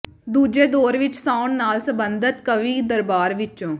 ਦੂਜੇ ਦੌਰ ਵਿੱਚ ਸਾਉਣ ਨਾਲ ਸੰਬਧਤ ਕਵੀ ਦਰਬਾਰ ਵਿੱਚੋਂ ਸ